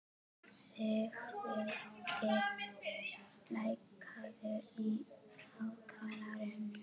Sigvaldi, lækkaðu í hátalaranum.